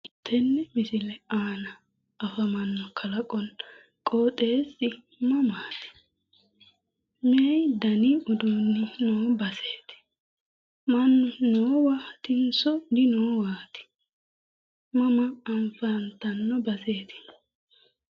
Tenne misile aana afamanno Kalaqonna qooxeessa Mama afamanno? Meu dani uduuni noo baseti? Mannu noowaatinso dinoowaati? Mama afantanno baseeti?